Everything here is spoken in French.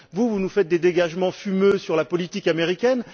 Or, vous nous faites des dégagements fumeux sur la politique américaine.